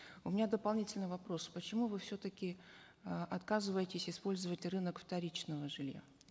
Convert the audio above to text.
у меня дополнительный вопрос почему вы все таки э отказываетесь использовать рынок вторичного жилья